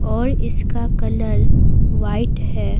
और इसका colour white है।